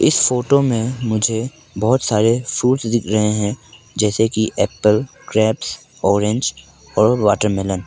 photo में मुझे बहुत सारे फ्रूट्स दिख रहे हैं जैसे कि एप्पल ग्रेप्स ऑरेंज और वाटरमेलन --